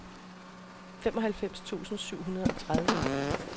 femoghalvfems tusind syv hundrede og tredive